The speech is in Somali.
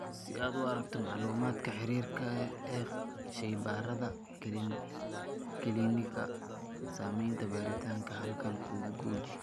Si aad u aragto macluumaadka xiriirka ee shaybaarada kiliinikada, samaynta baaritaanka halkan guji.